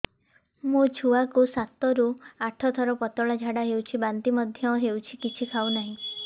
ମୋ ଛୁଆ କୁ ସାତ ରୁ ଆଠ ଥର ପତଳା ଝାଡା ହେଉଛି ବାନ୍ତି ମଧ୍ୟ୍ୟ ହେଉଛି କିଛି ଖାଉ ନାହିଁ